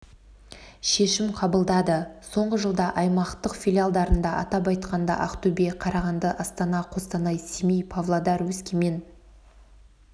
шешім қабылдады соңғы жылда аймақтық филиалдарында атап айтқанда ақтөбе қарағанды астана қостанай семей павлодар өскемен